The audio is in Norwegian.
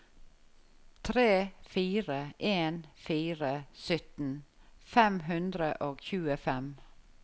tre fire en fire sytten fem hundre og tjuefem